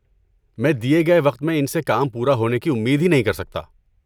میں دیے گئے وقت میں ان سے کام پورا ہونے کی امید ہی نہیں کر سکتا۔